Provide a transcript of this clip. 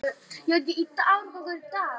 Ég horfi niður eftir útvextinum framan á mér.